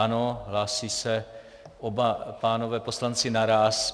Ano, hlásí se oba pánové poslanci naráz.